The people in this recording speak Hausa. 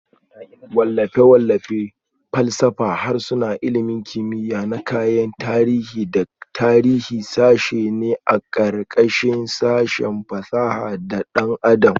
Wallafe-wallafe, falsafa, harsuna, ilmin kimiya na kayan tarihi da tarihi sashe ne a ƙarƙashin sashin fasaha da ɗan adam